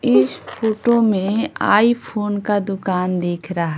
इस फोटो में आई-फोन का दुकान दिख रहा --